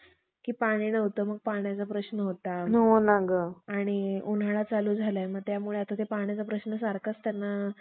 च्या लोकांनी कित्येक बुद्ध धर्म लोकांस, तेलाच्या घाण्यात पिळून मारले. आणि त्यांचे बहुतेक उत्तम उत्तम ग्रंथ जाळून टाकले. फक्त त्यांपैकी अमरकोश